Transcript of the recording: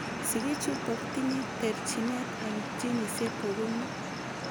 Sigichutok tinyee terchineet eng jinisiek kokonuu